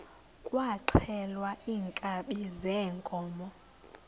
kwaxhelwa iinkabi zeenkomo